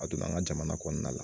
A don an ka jamana kɔnɔna la